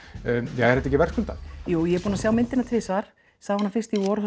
ja er þetta ekki verðskuldað jú ég er búin að sjá myndina tvisvar sá hana fyrst í vor